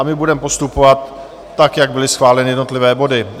A my budeme postupovat tak, jak byly schváleny jednotlivé body.